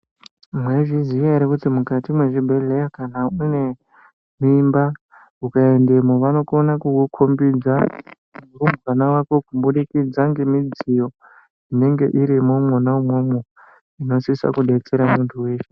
Mwaizviziya here kuti mukati mezvibhehleya kana kuti unemimba vanokona kukukombidza vana vako kubudikidza ngemudziyo inenge irimo mwona umwomwo inosisa kutsers muntu weshe.